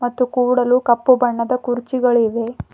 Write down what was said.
ಮತ್ತು ಕೂಡಲು ಕಪ್ಪು ಬಣ್ಣದ ಕುರ್ಚಿಗಳಿವೆ.